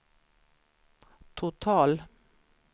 total